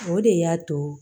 O de y'a to